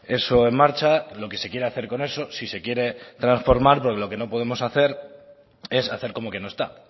eso en marcha lo que se quiere hacer eso si se quiere trasformar pero lo que no podemos hacer es hacer como que no está